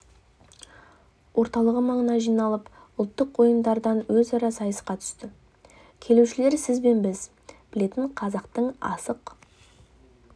орталығы маңына жиналып ұлттық ойындардан өзара сайысқа түсті келушілер сіз бен біз білетін қазақтың асық